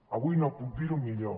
avui no puc dir ho millor